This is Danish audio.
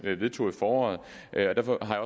vedtog i foråret derfor har